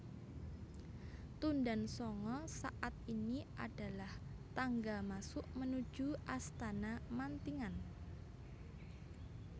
Tundan Sanga saat ini adalah tangga masuk menuju Astana Mantingan